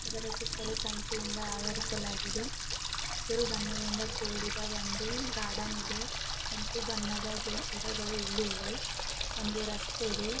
ಇದರ ಸುತ್ತಲೂ ತಂತಿ ಇಂದ ಅವರಿಸಲಾಗಿದೆ. ಹಸಿರು ಬಣ್ಣಗಳಿಂದ ಕೂಡಿದ ಒಂದು ಗಾರ್ಡನ್ ಇದೆ. ಕೆಂಪು ಬಣ್ಣದ ಗಿ-ಗಿಡಗಳು ಇಲ್ಲೆ ಇವೆ. ಒಂದು ರಸ್ತೆ ಇದೆ.